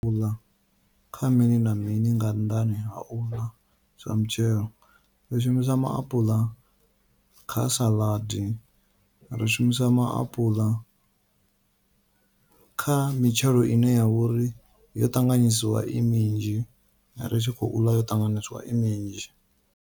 Uḽa kha mini na mini nga nnḓani ha uḽa zwa mitshelo, ri shumisa maapula kha saḽadi ri shumisa maapula kha mitshelo ine yavha uri yo ṱanganyisiwa i minzhi, ri tshi khou ḽa yo ṱanganyiswa i minzhi.